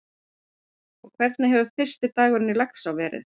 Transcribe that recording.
En hvernig hefur fyrsti dagurinn í Laxá verið?